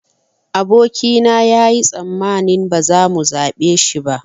Aboki na yayi tsammanin ba za mu zaɓe shi ba